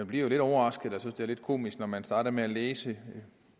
bliver lidt overrasket og synes det er lidt komisk når man starter med at læse